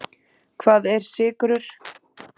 Hvað eru sykrur?